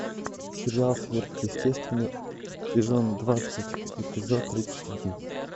сериал сверхъестественное сезон двадцать эпизод тридцать один